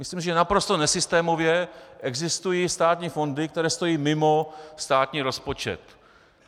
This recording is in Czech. Myslím, že naprosto nesystémově existují státní fondy, které stojí mimo státní rozpočet.